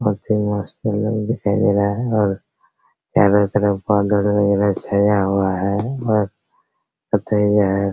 बहुत ही मस्त लोग दिखाई दे रहा है और चारो तरफ पाउडर वगैरह छाया हुआ है बहुत --